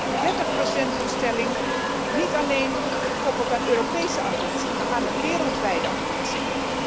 Een 30 doelstelling, niet alleen gekoppeld aan Europese ambitie, maar aan een wereldwijde ambitie.